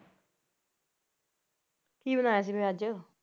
ਕੀ ਬਣਾਇਆ ਸੀ ਫਿਰ ਅੱਜ?